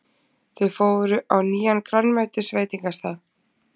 Þau fóru á nýjan grænmetisveitingastað.